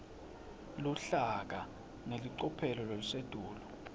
luhlaka ngelicophelo lelisetulu